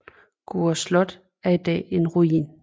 Gurre Slot er i dag en ruin